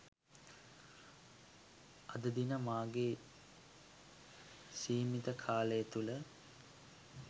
අදදින මාගේ සීමිත කාලය තුළ